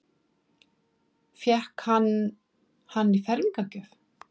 Fékk hann hann í fermingargjöf?